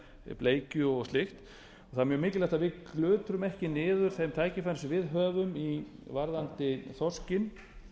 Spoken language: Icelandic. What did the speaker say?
er bleikju og slíkt það er mjög mikilvægt að við glutrum ekki niður þeim tækifærum sem við höfum varðandi þorskinn